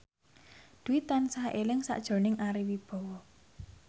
Dwi tansah eling sakjroning Ari Wibowo